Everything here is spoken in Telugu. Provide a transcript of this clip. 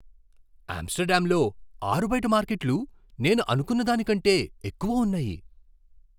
ఆమ్స్టర్డామ్లో ఆరుబయట మార్కెట్లు నేను అనుకున్న దానికంటే ఎక్కువ ఉన్నాయి.